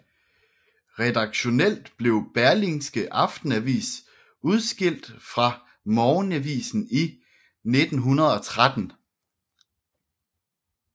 Redaktionelt blev Berlingske Aftenavis udskilt fra morgenavisen i 1913